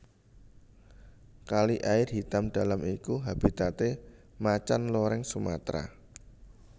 Kali Air Hitam Dalam iku habitate Macan Loreng Sumatra